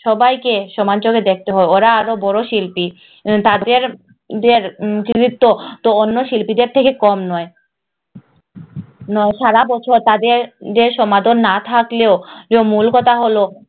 সবাইকে সমান চোখে দেখতে হয় ওরা আরো বড় শিল্পী আহ তাদের তো তো অন্য শিল্পীদের থেকে কম নয় সারাবছর তাদের যে সমতন না থাকলেও মূল কথা হল